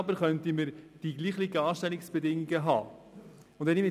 Dafür könnte man jedoch dieselben Anstellungsbedingungen für alle gewährleisten.